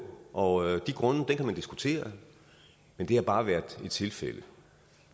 og de grunde kan man diskutere men det har bare været et tilfælde